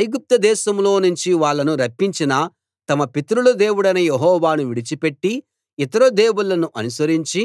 ఐగుప్తుదేశంలో నుంచి వాళ్ళను రప్పించిన తమ పితరుల దేవుడైన యెహోవాను విడిచిపెట్టి ఇతర దేవుళ్ళను అనుసరించి